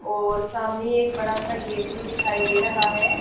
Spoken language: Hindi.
और सामने एक बड़ासा गेट भी दिखाई दे रहा हैं।